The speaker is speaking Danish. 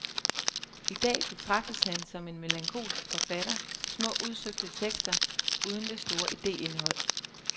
I dag betragtes han som en melankolsk forfatter til små, udsøgte tekster uden det store ideindhold.